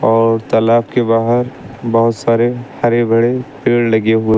और तालाब के बाहर बहोत सारे हरे भरे पेड़ लगे हु--